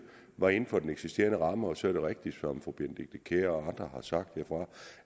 var inden for den eksisterende ramme så er det rigtigt som fru benedikte kiær og andre har sagt